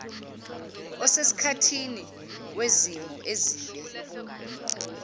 osesikhathini wezimo ezibe